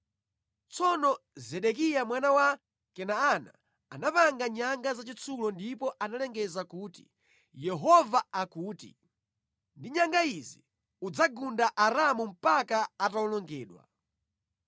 Tsono Zedekiya mwana wa Kenaana anapanga nyanga zachitsulo ndipo analengeza kuti, “Yehova akuti, ‘Ndi nyanga izi udzagunda Aaramu mpaka atawonongedwa!’ ”